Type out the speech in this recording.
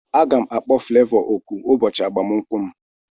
Aga m akpọ Flevọ oku ụbọchị agbamakwụkwọ m